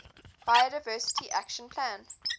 biodiversity action plan